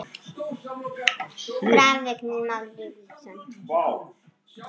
Graf: Vignir Már Lýðsson